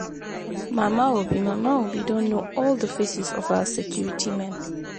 Mama Obi Mama Obi don know all the faces of our security men.